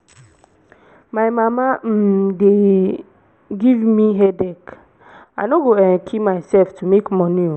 my mama um dey give me headache. i no go kill um myself to make money oo